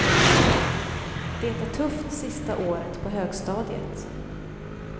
Det är tufft sista året på högstadiet.